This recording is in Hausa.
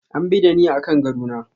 An bi da ni akan gado na.